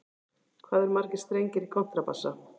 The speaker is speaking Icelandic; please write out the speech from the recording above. Hvað eru margir strengir í kontrabassa?